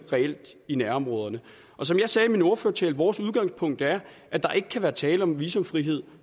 i nærområderne som jeg sagde i min ordførertale vores udgangspunkt er at der ikke kan være tale om visumfrihed